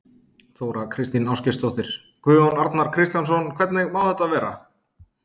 Þóra Kristín Ásgeirsdóttir: Guðjón Arnar Kristjánsson, hvernig má þetta vera?